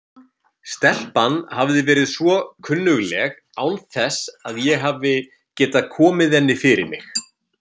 Stelpan hafði verið svo kunnugleg án þess að ég hafi getað komið henni fyrir mig.